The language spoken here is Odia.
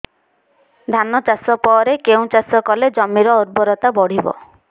ଧାନ ଚାଷ ପରେ କେଉଁ ଚାଷ କଲେ ଜମିର ଉର୍ବରତା ବଢିବ